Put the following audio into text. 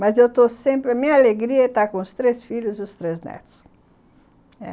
Mas eu estou sempre... A minha alegria é estar com os três filhos e os três netos.